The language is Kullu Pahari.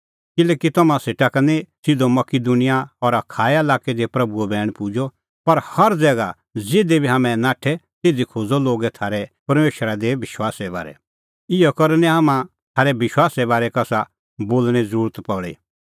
किल्हैकि तम्हां सेटा का निं सिधअ मकिदुनिया और अखाया लाक्कै दी प्रभूओ बैण पुजअ पर हर ज़ैगा ज़िधी बी हाम्हैं नाठै तिधी खोज़अ लोगै थारै परमेशरा दी विश्वासे बारै इहअ करै निं हाम्हां थारै विश्वासे बारै कसा बोल़णें ज़रुरत ई पल़ी